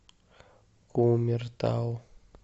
кумертау